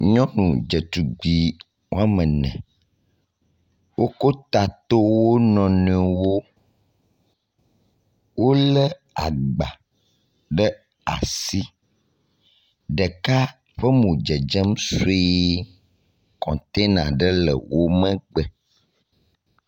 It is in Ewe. Nyɔnu dzetugbui woame ene, wokɔ ta tɔ wo nɔ nɔewo. Wolé agba ɖe asi, ɖeka ƒe mo dzedze sɔe, kɔtɔna aɖe le wo megbe.